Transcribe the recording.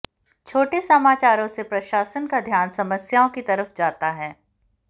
छोटे समाचारों से प्रशासन का ध्यान समस्याओं की तरफ जाता है